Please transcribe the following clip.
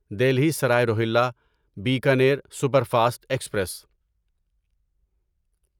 Delhi Sarai Rohilla Bikaner superfast express